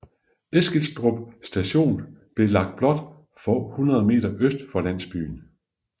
Eskilstrup station blev lagt blot få hundrede meter øst for landsbyen